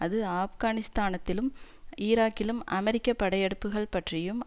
அது ஆப்கானிஸ்தானத்திலும் ஈராக்கிலும் அமெரிக்க படையெடுப்புக்கள் பற்றியும்